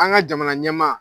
An ka jamana ɲɛmaa